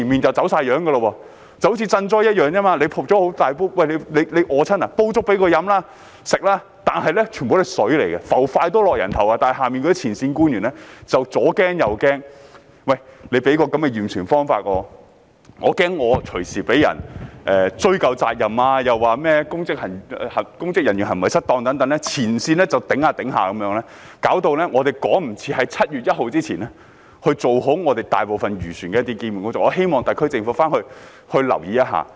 正如賑災一樣，災民肚餓，便煲粥給他們吃，但其實全部都是水，"筷子浮起，人頭落地"，但前線官員就是左怕右怕，害怕因驗船方法而隨時被人追究責任，又說甚麼公職人員行為失當等，礙手礙腳，令我們無法趕及在7月1日前完成大部分漁船的一些基本工作，我希望特區政府回去留意一下。